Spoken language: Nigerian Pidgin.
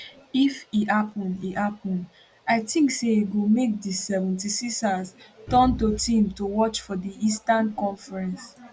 if e happun e happun i tink say e go make di 76ers turn to team to watch for di eastern conference